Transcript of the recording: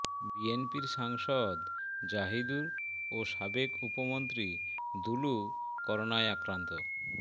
বিএনপির সাংসদ জাহিদুর ও সাবেক উপমন্ত্রী দুলু করোনায় আক্রান্ত